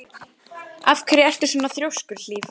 Af hverju ertu svona þrjóskur, Hlíf?